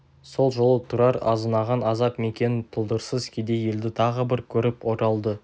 сол жолы тұрар азынаған азап мекенін тұлдырсыз кедей елді тағы бір көріп оралды